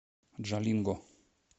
джалинго